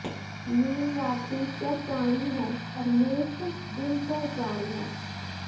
mean रात्रि चर प्राणी है और मेष दिन चर प्राणी है